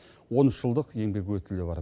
он үш жылдық еңбек өтілі бар